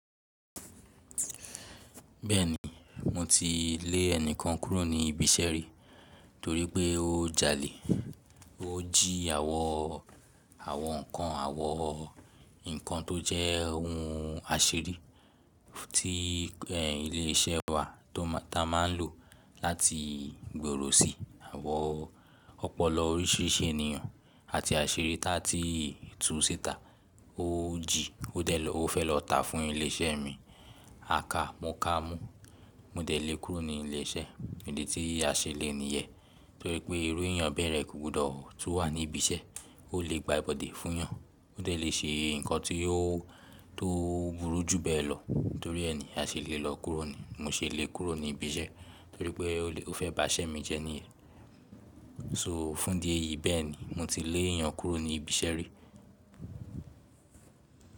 Bẹ́ẹ̀ni, mo ti lè ẹnìkan kúrò ní ibi iṣẹ́ rí torí pé ó jalè. Ó jí àwọn, àwọn nǹkan, àwọn nnkan tó jẹ́ ohun asiri tí ilé iṣẹ́ wa tó ma, ta má ń lò láti gbòòrò sí àwọn ọ̀pọ̀lọpọ̀ oríṣìíríṣìí ènìyàn àti asiri tá tí tún ṣẹ́ta. Ó jí, ó de lo, ó fẹ́ lọ tá fún ilé iṣẹ́ mi. A ka, mo kà á mú. Mo de le kúrò ní ile iṣẹ́ idi tí a se le niyẹn torí pé irú ènìyàn bẹ́ re kò gbọdọ̀ tú wà ní ibi iṣẹ́, ó lè gba ibodè fún wọn. Ó de le ṣe nǹkan tí ó, tó burú jù bẹ́ẹ̀ lọ torí ẹni a ṣe lè lọ kúrò ni. Mo ṣe lè kúrò ní ibi iṣẹ́ torí pé ó lè, ó fẹ́ bá iṣẹ́ mi jẹ́ ní. So fún di èyí bẹ́ẹ̀ ni mo ti lé ènìyàn kúrò ní ibi iṣẹ́ rí.